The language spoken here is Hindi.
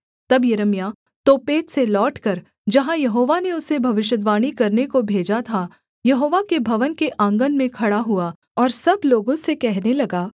तब यिर्मयाह तोपेत से लौटकर जहाँ यहोवा ने उसे भविष्यद्वाणी करने को भेजा था यहोवा के भवन के आँगन में खड़ा हुआ और सब लोगों से कहने लगा